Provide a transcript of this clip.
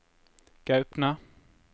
Gaupne